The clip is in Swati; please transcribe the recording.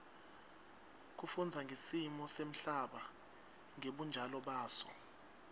kufundza ngesimo semhlaba ngebunjalo baso